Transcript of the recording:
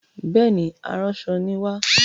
Bẹẹni, aránṣọ ni wa.